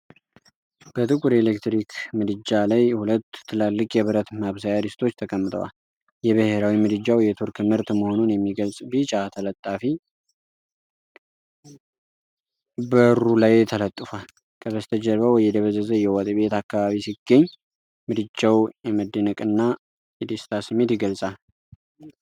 በጥቁር ኤሌክትሪክ ምድጃ ላይ ሁለት ትላልቅ የብረት ማብሰያ ድስቶች ተቀምጠዋል። የብሔራዊ ምድጃው የቱርክ ምርት መሆኑን የሚገልጽ ቢጫ ተለጣፊ በሩ ላይ ተለጥፏል። ከበስተጀርባው የደበዘዘ የወጥ ቤት አካባቢ ሲገኝ፣ ምድጃው የመደነቅና የደስታ ስሜት ይገልጻል።